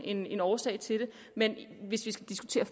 en årsag til det men hvis vi skal diskutere